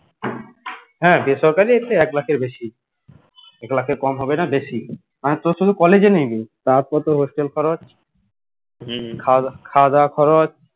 হ্যাঁ বেসরকারি এসছে এক লাখেরও বেশি এক লাখের কম হবেনা বেশি মানে তোর শুধু college এ নেই তারপর তোর hostel খরচ খাওয়া দাওয়া খরচ